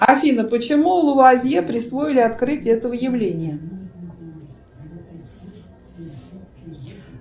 афина почему луазье присвоили открытие этого явления